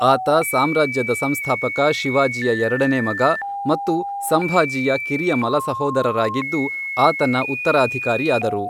ಆತ ಸಾಮ್ರಾಜ್ಯದ ಸಂಸ್ಥಾಪಕ ಶಿವಾಜಿಯ ಎರಡನೇ ಮಗ, ಮತ್ತು ಸಂಭಾಜಿಯ ಕಿರಿಯ ಮಲಸಹೋದರರಾಗಿದ್ದು, ಆತನ ಉತ್ತರಾಧಿಕಾರಿಯಾದರು.